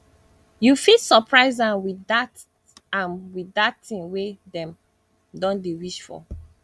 yu fit soprise am wit dat am wit dat tin wey em don dey wish for